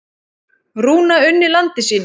Rúna unni landi sínu.